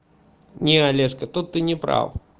не олешко тут ты не прав